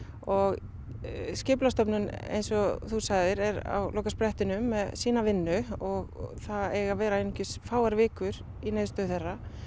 og eins og þú sagðir er á lokasprettinum með sína vinnu og það eiga að vera einungis fáar vikur í niðurstöðu þeirra